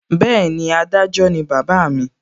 Bẹ́ẹ̀ni, adájọ́ ni bàbá mi